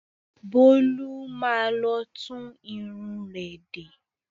Bólú má lọ tún irun rẹ̀ de.